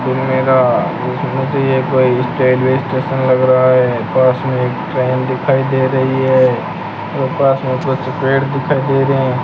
Station लग रहा है पास में एक ट्रेन दिखाई दे रही है और पास में कुछ पेड़ दिखाई दे रहे हैं।